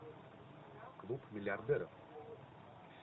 клуб миллиардеров